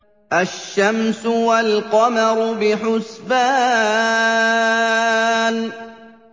الشَّمْسُ وَالْقَمَرُ بِحُسْبَانٍ